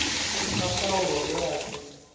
sa paulo nge a si